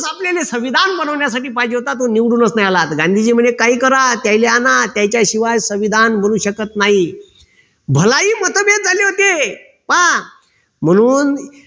आपल्याले संविधान बनवण्यासाठी पाहिजे होता तो निवडूनच नाही आला गांधीजी म्हणाले काही करा त्याले आना त्याच्याशिवाय संविधान बनू शकत नाही. भलाई मतभेद झाले होते. पहा. म्हणून